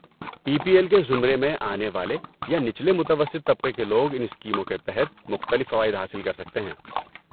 Be P L کے زمرے میں آنے والے یا نچلے متوسط طبقے کے لوگ ان اسکیموں کے تحت مختلف فوائد حاصل کر سکتے ہیں۔